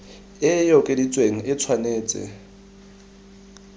e e okeditsweng e tshwanetse